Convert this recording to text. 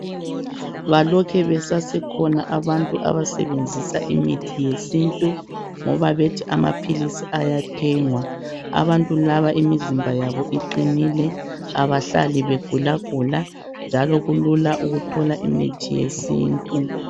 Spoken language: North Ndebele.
balokhe besasekhona abantu abasebenzisa imithi yesintu ngoba bethi amaphilisi ayathengwa abantu laba imizimba yabo iqinile abahlali begulagula njalo kulula ukuthola imithi yesintu